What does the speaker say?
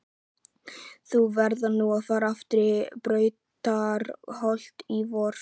Þú færð nú að fara aftur í Brautarholt í vor.